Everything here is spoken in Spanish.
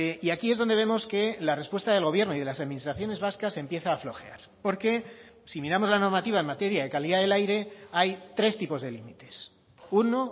y aquí es donde vemos que la respuesta del gobierno y de las administraciones vascas empieza a flojear porque si miramos la normativa en materia de calidad del aire hay tres tipos de límites uno